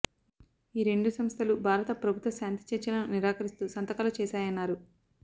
ఈ రెండు సంస్థలు భారత ప్రభుత్వ శాంతి చర్చలను నిరాకరిస్తూ సంతకాలు చేశాయన్నారు